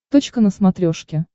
точка на смотрешке